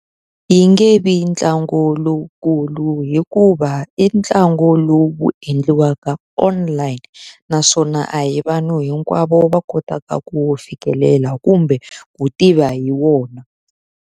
Yi nge vi ntlangu lowukulu hikuva i ntlangu lowu endliwaka online, naswona a hi vanhu hinkwavo va kotaka ku fikelela kumbe ku tiva hi wona.